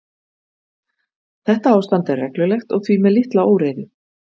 Þetta ástand er reglulegt og því með litla óreiðu.